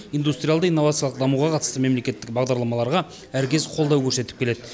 индустриалды инновациялық дамуға қатысты мемлекеттік бағдарламаларға әркез қолдау көрсетіп келеді